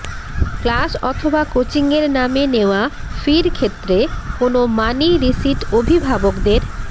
class অথবা কোচিংয়ের নামে নেওয়া ফির ক্ষেত্রে কোনো মানি রিসিট অভিভাবকদের